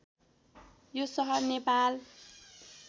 यो सहर नेपाल